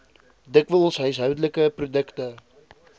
dikwels huishoudelike produkte